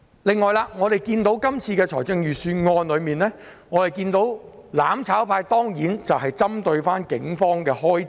此外，對於這份預算案，我們看到"攬炒派"當然不斷針對警方的開支。